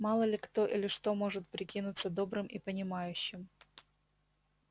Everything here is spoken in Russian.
мало ли кто или что может прикинуться добрым и понимающим